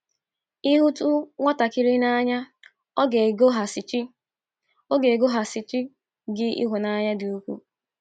“ Ị HỤTỤ nwatakịrị n’anya, ọ ga - egosighachi - egosighachi gị ịhụnanya dị ukwuu. ”